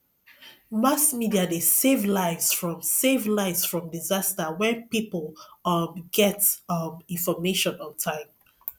mass media de save lives from save lives from disaster when pipo um get um information on time